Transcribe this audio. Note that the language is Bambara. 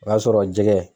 O y'a sɔrɔ jɛgɛ